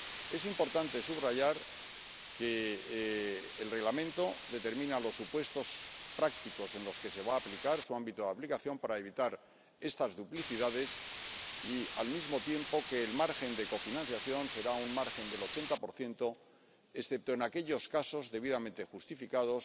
Es importante subrayar que el Reglamento determina los supuestos prácticos en los que se va a aplicar —su ámbito de aplicación— para evitar estas duplicidades y, al mismo tiempo, que el margen de cofinanciación será un margen del 80 excepto en aquellos casos debidamente justificados